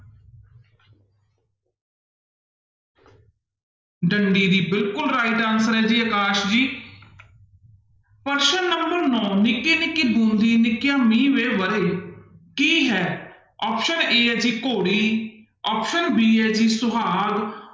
ਡੰਡੀ ਦੀ ਬਿਲਕੁਲ right answer ਹੈ ਜੀ ਅਕਾਸ ਜੀ ਪ੍ਰਸ਼ਨ number ਨੋਂ ਨਿੱਕੀ ਨਿੱਕੀ ਬੂੰਦੀ ਨਿੱਕਿਆ ਮੀਂਹ ਵੇ ਵਰੇ, ਕੀ ਹੈ option a ਹੈ ਜੀ ਘੋੜੀ option b ਹੈ ਜੀ ਸੁਹਾਗ,